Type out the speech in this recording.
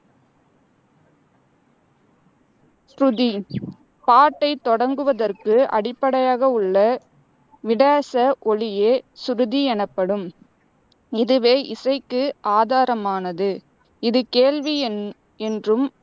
சுருதி பாட்டைத் தொடங்குவதற்கு அடிப்படையாக உள்ள விடேச ஒலியே சுருதி எனப்படும். இதுவே இசைக்கு ஆதாரமானது. இது கேள்வி என் என்றும்,